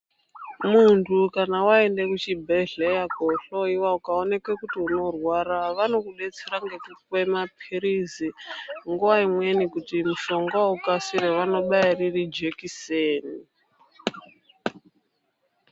Muntu kana waenderwa kuchibhedhlera , kohloiwa ukaoneke kuti unorwara vanokudetsera nekupe maphirizi , nguwa imweni kuti mushongawo ukasire vaobaya riri jekiseni